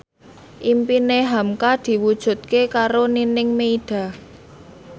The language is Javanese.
impine hamka diwujudke karo Nining Meida